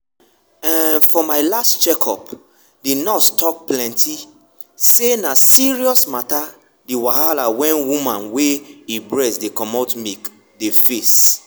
umfor my last check up the nurse talk plenty say na serious matter the wahala wen woman wey e breast dey comot milk dey face./